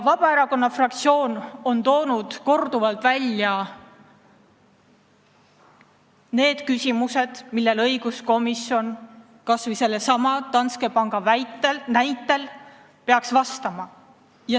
Vabaerakonna fraktsioon on korduvalt toonud välja need küsimused, millele õiguskomisjon kas või sellesama Danske panga näitel peaks vastama.